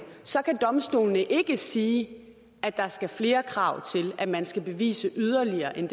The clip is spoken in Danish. så kan domstolene ikke sige at der skal flere krav til at man skal bevise det yderligere end